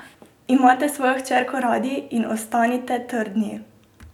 Imejte svojo hčerko radi in ostanite trdni!